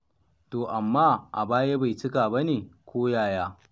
To amma a baya bai cika ba ne ko yaya?